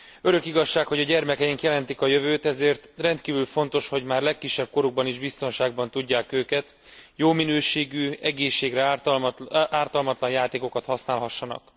Örök igazság, hogy a gyermekeink jelentik a jövőt, ezért rendkívül fontos, hogy már legkisebb korukban is biztonságban tudjuk őket, jó minőségű, egészségre ártalmatlan játékokat használhassanak.